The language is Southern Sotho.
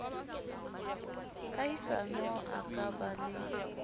kahisano a ka ba le